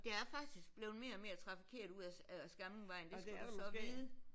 Der er faktisk blevet mere og mere trafikeret ude af Skamlingvejen det skal du så vide